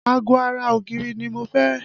Ago ara ògiri ni mo fẹ́